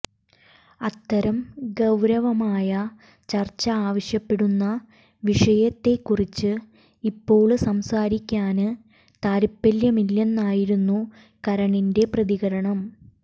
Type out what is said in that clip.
അത്തരം ഗൌരവമായ ചര്ച്ച ആവശ്യപ്പെടുന്ന വിഷയത്തെകുറിച്ച് ഇപ്പോള് സംസാരിക്കാന് താത്പര്യമില്ലെന്നായിരുന്നു കരണിന്റെ പ്രതികരണം